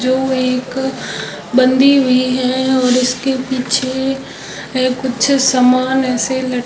जो एक बंधी हुई है और इसके पीछे कुछ सामान ऐसे ल--